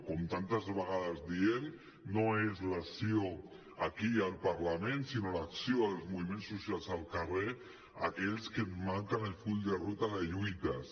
com tantes vegades diem no és l’acció aquí al parlament sinó l’acció dels moviments socials al carrer aquells que et marquen el full de ruta de lluites